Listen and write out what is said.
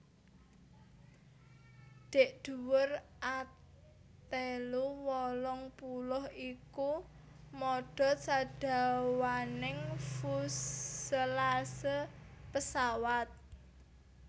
Dhèk dhuwur A telu wolung puluh iku modhot sadawaning fuselase pesawat